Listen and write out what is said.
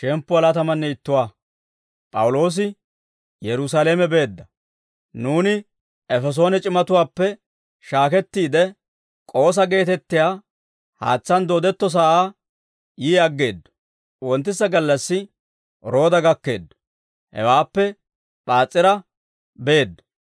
Nuuni Efesoone c'imatuwaappe shaakettiide, K'oosa geetettiyaa haatsaan doodetto sa'aa yii aggeeddo; wonttisa gallassi Rooda gakkeeddo; hewaappe P'aas'ira beeddo.